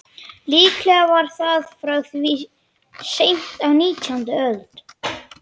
Líklega var það frá því seint á nítjándu öld.